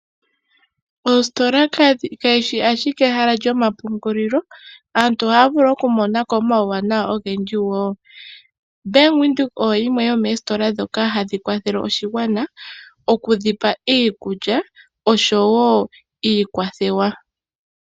Oositola kadhi shi ashike owala ehala lyomapungulilo aantu ohaya vulu okumonako omauwana ogendji woo. Ombanga yaVenduka oyo yimwe yomoositola dhoka hadhi kwathele oshigwana okudhipa iikulya osho woo iikwathewa.